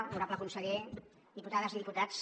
honorable conseller diputades i diputats